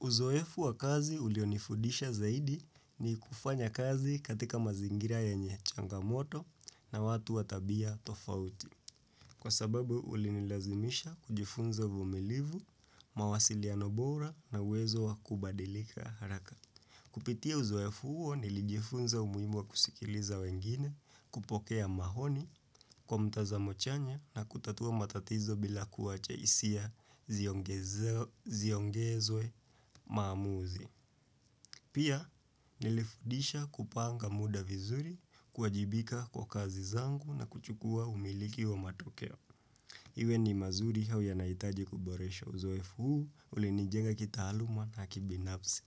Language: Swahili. Uzoefu wa kazi ulionifudisha zaidi ni kufanya kazi katika mazingira ya nyeye changamoto na watu watabia tofauti, kwa sababu ulinilazimisha kujifunza vumilivu, mawasiliano bora na uwezo wa kubadilika haraka. Kupitia uzoefu huyo nilijifunza umuhimu wa kusikiliza wengine kupokea mahoni kwa mtazamo chanya na kutatua matatizo bila kuwacha hisia ziongezwe maamuzi. Pia nilifudisha kupanga muda vizuri kuajibika kwa kazi zangu na kuchukua umiliki wa matokeo. Iwe ni mazuri hau ya naitaji kuboresho uzoefu huu, ulinijenga kitaaluma na kibinanfsi.